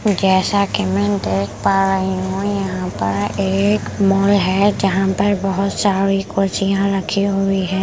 जैसा कि मैं देख पा रही हूँ यहाँ पर एक मॉल है जहाँ पर बहुत सारी कुर्सियाँ रखी हुई है ।